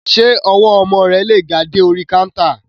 Ṣé ọwọ́ ọmọ rẹ lè ga dé orí káńtà?